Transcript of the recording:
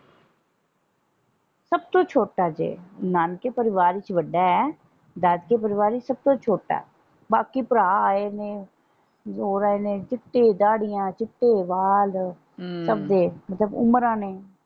ਸਬ ਤੋਂ ਛੋਟਾ ਜੇ ਨਾਨਕੇ ਪਰਿਵਾਰ ਵਿੱਚ ਵੱਡਾ ਹੈ ਦਾਦਕੇ ਪਰਿਵਾਰ ਵਿੱਚ ਸਬ ਤੋਂ ਛੋਟਾ ਬਾਕੀ ਭਰਾ ਆਏ ਨੇ ਰੋ ਰਹੇ ਨੇ ਚਿੱਟੀ ਦਾੜੀਆਂ ਚਿੱਟੇ ਵਾਲ ਸਬ ਦੇ ਮਤਲਬ ਉਮਰਾਂ ਨੇ।